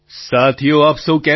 પ્રધાનમંત્રી સાથીઓ આપ સહુ કેમ છો